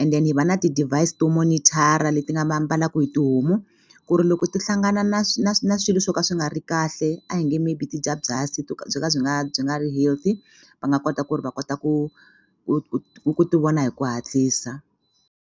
and then hi va na ti-device to monitor-a leti nga mbalaku hi tihomu ku ri loko ti hlangana na swilo swo ka swi nga ri kahle a hi nge maybe ti dya byasi byo ka byi nga byi nga ri healthy va nga kota ku ri va kota ku ku ti vona hi ku hatlisa.